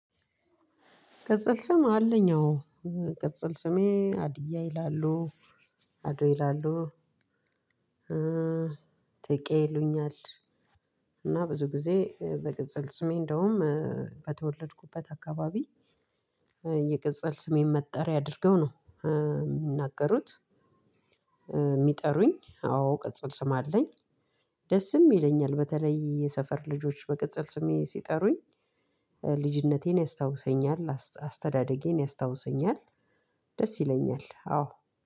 ቅጽል ስም አለኝ። አዎ። ቅጽል ስሜ አድያ ይላሉ አዶ ይላሉ። ጥቄ ይሉኛል። እና ብዙ ጊዜ በቅጸል ስሜ እንደውም በተወለድኩበት አካባቢ። የቅጽል ስሜን መጠሪያ አድርገው ነው የምናገሩት። የሚጠሩኝ አዎ ቅጽል ስም አለኝ። ደስም ይለኛል በተለይ የሰፈር ልጆች በቅጽል ስሜ ሲጠሩኝ ልጅነቴን ያስታውሰኛል አስተዳደጌን ያስታውሰኛል። ደስ ይለኛል አዎ።